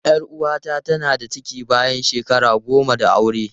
Yar uwata tana da ciki bayan shekara goma da aure.